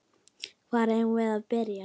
Hvar eigum við að byrja?